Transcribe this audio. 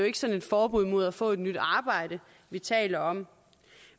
ikke sådan et forbud mod at få et nyt arbejde vi taler om